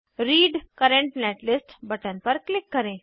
read current netlist button पर click करें